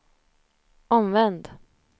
omvänd